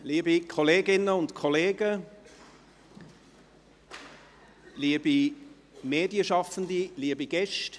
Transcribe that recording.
Liebe Kolleginnen und Kollegen, liebe Medienschaffende, liebe Gäste.